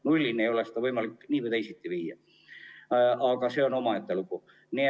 Nullini ei ole seda võimalik nii või teisiti viia, aga see on omaette lugu.